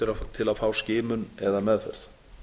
til að fá skimun eða meðferð